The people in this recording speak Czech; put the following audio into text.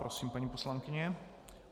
Prosím, paní poslankyně.